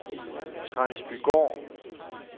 Transbygård